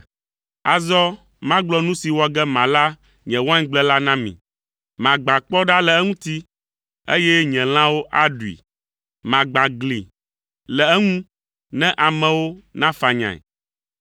Azɔ magblɔ nu si wɔ ge mala nye waingble la na mi. Magbã kpɔ ɖa le eŋuti, eye lãwo aɖui. Magbã gli le eŋu ne amewo nafanyae.